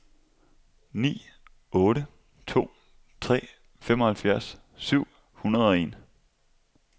ni otte to tre femoghalvfjerds syv hundrede og en